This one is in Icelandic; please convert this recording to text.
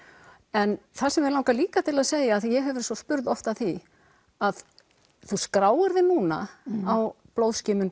en það sem mig langar líka til að segja af því ég hef verið spurð oft að því að þú skráir þig núna á